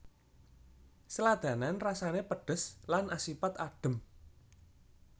Sladanan rasane pedhes lan asipat adhem